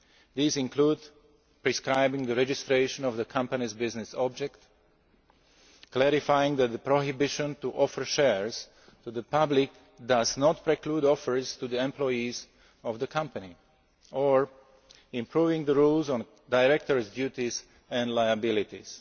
These include prescribing the registration of the company's business object, clarifying that the ban on offering shares to the public does not preclude offers to the employees of the company, or improving the rules on directors' duties and liabilities.